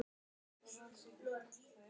Ég gerði það í morgun.